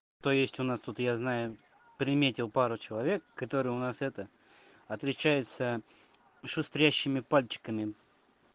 то есть у нас тут я знаю приметил пару человек которые у нас это отличаются шустрящими пальчиками